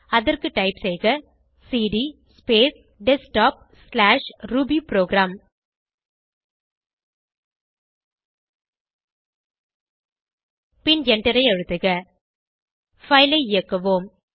அதற்கு டைப் செய்க CD space desktopரூபிபுரோகிராம் பின் எண்டரை அழுத்துக பைல் ஐ இயக்குவோம்